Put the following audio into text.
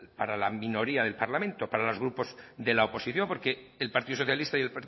para la minoría del parlamento para los grupos de la oposición porque el partido socialista y